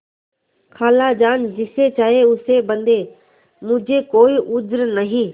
खालाजान जिसे चाहें उसे बदें मुझे कोई उज्र नहीं